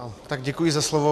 Tak děkuji za slovo.